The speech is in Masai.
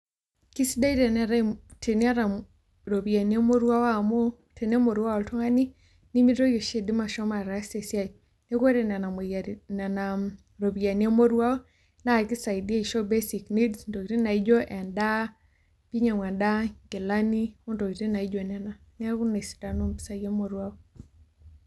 Keisadia teniata iropiyiani emoruao amuu tenemoruau oltungani nemeitoki oshi aidima ashomo ataasa esia. Niaku ore nena moyiaritin nena ropiyiani emoruao naa keisaidia aisho basic needs intokitin naijio endaa pee einyiangu endaa inkilani intokitin naijio nena. Niaku ina esidano oompisai emoruao